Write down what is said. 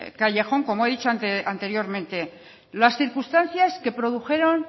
callejón como he dicho anteriormente las circunstancias que produjeron